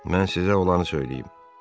Mən sizə olanı söyləyim.